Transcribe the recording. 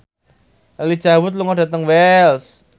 Elijah Wood lunga dhateng Wells